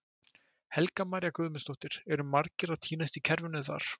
Helga María Guðmundsdóttir: Eru margir að týnast í kerfinu þar?